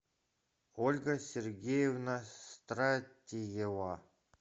ольга сергеевна стратиева